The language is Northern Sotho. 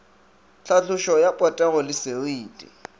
tlhatlošo ya potego le seriti